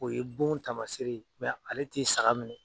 O ye bon taamaseere ye ale tɛ saga minɛ.